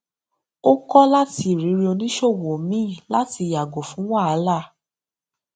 ó kó láti irírí oníṣòwò míì láti yàgò fún wahala